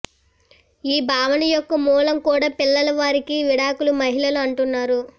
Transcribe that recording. ఈ భావన యొక్క మూలం కూడా పిల్లలు వారికి విడాకులు మహిళలు అంటున్నారు